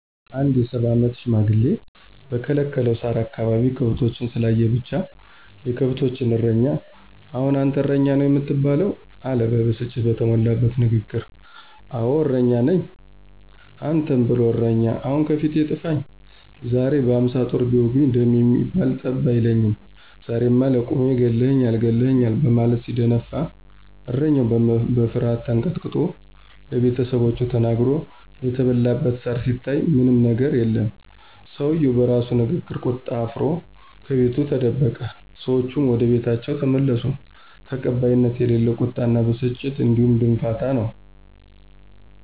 አንድ የ፸ አመት ሽማግሌ በከለከለው ሳር አካባቢ ከብቶችን ስላየ ብቻ፤ የከብቶችን እረኛ አሁን አንተ እረኛ ነው የምትባለው! አለ ብስጭት በተሞላበት ንግግር። አወ እረኛ ነኝ። አንተን ብሎ እረኛ ! አሁን ከፊቴ ጥፈኝ! ዛሬማ በ፶ ጦር ቢወጉኝ ደም የሚባል ጠብ አይለኝም! ዛሬማ ለቁሜ ገለህኛል! ገለህኛል! በማለት ሲደነፋ እረኛው በፍርሀት ተንቀጥቅጦ ለቤተሰቦቹ ተናግሮ የተበላበት ሳር ሲታይ ምንም የገር የለም። ሰውየው በራሱ ንግግርና ቁጣ አፍሮ ከቤቱ ተደበቀ። ሰዎቹም ወደቤታቸው ተመለሱ። ተቀባይነት የሌለው ቁጣና ብስጭት እንዲሁም ድንፋታ ነው።